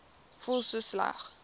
voel so sleg